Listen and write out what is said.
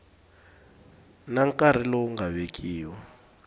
na nkarhi lowu nga vekiwa